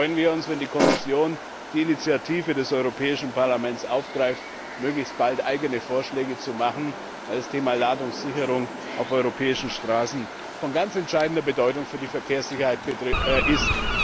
Da freuen wir uns, wenn die Kommission die Initiative des Europäischen Parlaments aufgreift und möglichst bald eigene Vorschläge vorlegt, weil das Thema Ladungssicherung auf europäischen Straßen von ganz entscheidender Bedeutung für die Verkehrssicherheit ist.